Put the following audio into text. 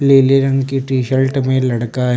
लिले रंग की टी शल्ट में लड़का ह--